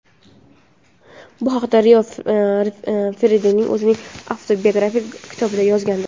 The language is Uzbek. Bu haqida Rio Ferdinand o‘zining avtobiografik kitobida yozgandi.